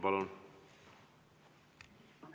Palun!